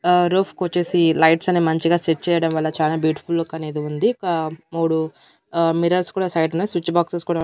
ఆ రూఫ్ కొచ్చేసి లైట్స్ అనే మంచిగా సెట్ చేయడం వల్ల చానా బ్యూటిఫుల్ లుక్ అనేది ఉంది ఒక మూడు ఆ మిర్రర్స్ కూడా సైడ్ న స్విచ్ బాక్సెస్ కూడా--